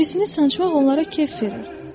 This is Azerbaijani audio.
Birisini sancmaq onlara kef verir.